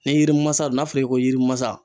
Ni yiri masa don n'a fɔra i ye ko yirimasa